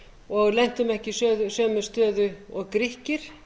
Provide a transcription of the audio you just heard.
og lentum ekki í sömu stöðu og grikkir